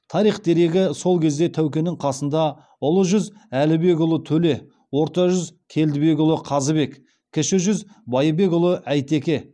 тарих дерегі сол кезде тәукенің қасында ұлы жүз әлібекұлы төле орта жүз келдібекұлы қазыбек кіші жүз байбекұлы әйтеке